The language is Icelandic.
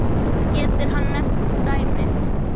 Getur hann nefnt dæmi?